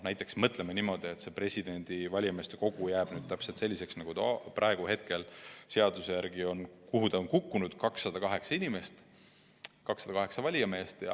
Näiteks mõtleme niimoodi, et valimiskogu jääb meil täpselt selliseks, nagu ta praegu seaduse järgi on – kuhu ta on kukkunud –, koosnedes 208 valijamehest.